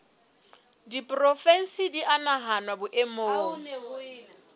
diporofensi di a nahanwa boemong